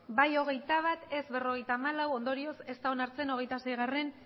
bai hogeita bat ez berrogeita hamalau ondorioz ez da onartzen hogeita seigarrena